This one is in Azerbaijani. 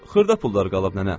Xırda pullar qalıb nənə.